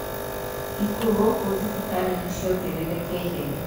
Ikuo gūkū thibitarī nīciongererekeire